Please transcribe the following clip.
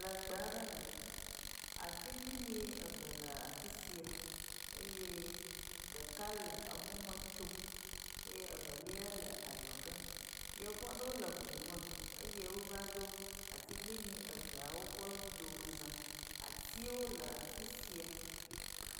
Le gbe aɖe me. Atiglinyi eve le afi sia eye ɖeka le emɔ me tsom eye eveliae le adzɔge. Yevu aɖewo le ŋu me eye wova ɖo atiglinyi eveawo ƒe domeza. Atiwo le afi sia.